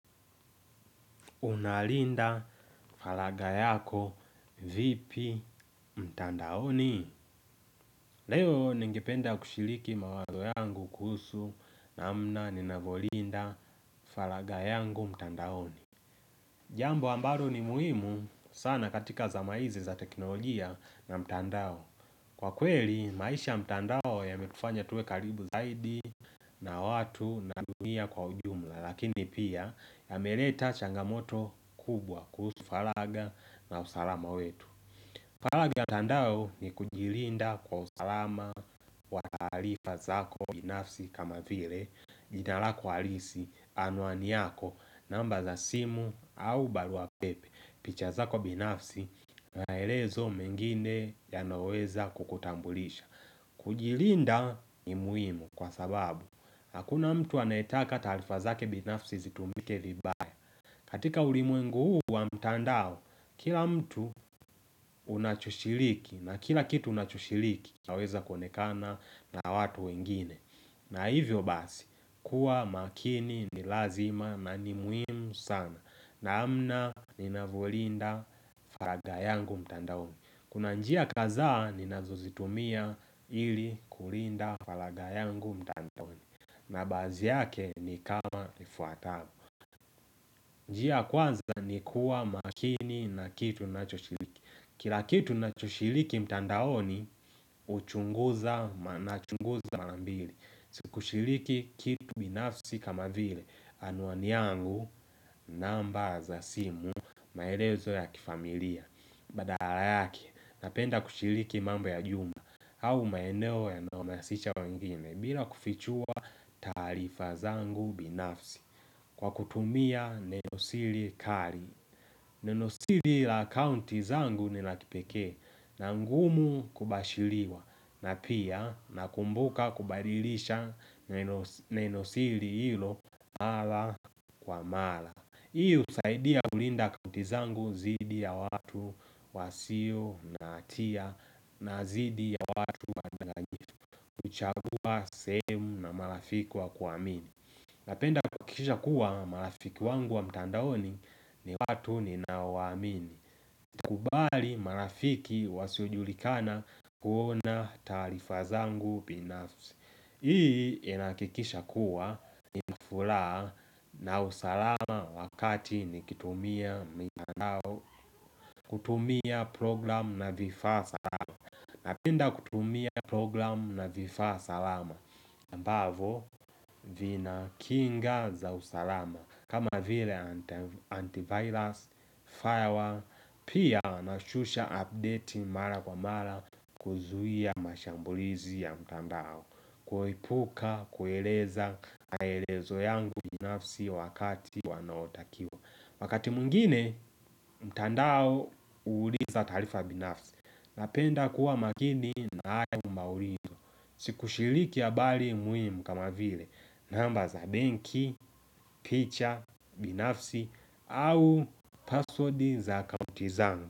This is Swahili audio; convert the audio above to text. Unalinda falaga yako vipi mtandaoni Leo ningependa kushiliki mawazo yangu kuhusu namna ninavyolinda falaga yangu mtandaoni Jambo ambalo ni muhimu sana katika zama hizi za teknolojia na mtandao Kwa kweli maisha ya mtandao yametufanya tuwe karibu zaidi na watu na dunia kwa ujumla Lakini pia yameleta changamoto kubwa kusu falaga na usalama wetu Falaga ya tandao ni kujilinda kwa usalama wa taarifa zako binafsi kama vile Jinalako halisi anwani yako namba za simu au baruapepe picha zako binafsi na elezo mengine ya naweza kukutambulisha kujilinda ni muhimu kwa sababu Hakuna mtu anayetaka taarifa zake binafsi zitumike vibaya. Katika ulimwengu huu wa mtandao, kila mtu unachoshiriki na kila kitu unachoshiliki inaweza kuonekana na watu wengine. Na hivyo basi, kuwa makini ni lazima na ni muhimu sana. Namna ninavyolinda faragha yangu mtandao. Kuna njia kazaa ninazozitumia ili kulinda falagayangu mtandaoni Nabazi yake ni kama ifuatamo njia ya kwanza ni kuwa makini na kitu unachoshiriki Kila kitu na choshiliki mtandaoni uchunguza manachunguza mara mbili Sikushiliki kitu binafsi kama vile Anwani yangu namba za simu maelezo ya kifamilia Badala yake napenda kushiliki mambo ya juma au maeneo ya naumasicha wengine bila kufichua taarifa zangu binafsi kwa kutumia nenosili kari Nenosili la akaunti zangu Nila kipekee na ngumu kubashiliwa na pia na kumbuka kubadilisha nenosili hilo Mala kwa mala Hii husaidia kulinda akauntizangu zidi ya watu wasio na hatia na zidi ya watu wanochagua sehemu na marafiki wa kuamini Napenda kukisha kuwa marafiki wangu wa mtandaoni ni watu ni naowaamini kubali marafiki wasiojulikana kuona taarifa zangu binafsi Hii inahakikisha kuwa inafulaha na usalama wakati nikitumia mtandao kutumia program na vifa salama napenda kutumia program na vifa salama Mbavo vina kinga za usalama kama vile antivirus, firewall, pia na shusha update mara kwa mara kuzuia mashambulizi ya mtandao kuepuka, kueleza, maelezo yangu binafsi wakati wanaotakiwa Wakati mwingine, mtandao huuliza taarifa binafsi Napenda kuwa makini na hayo maurindo Sikushiliki habari muhimu kama vile namba za banki, picha, binafsi au password za akaunti zangu.